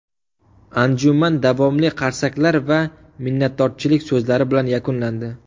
Anjuman davomli qarsaklar va minnatdorchilik so‘zlari bilan yakunlandi.